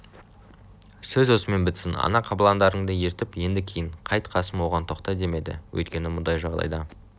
сөз осымен бітсін ана қабыландарыңды ертіп енді кейін қайт қасым оған тоқта демеді өйткені мұндай жағдайда